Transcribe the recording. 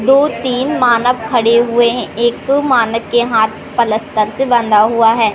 दो तीन मानव खड़े हुए हैं एक मानव के हाथ पलस्तर से बंधा हुआ है।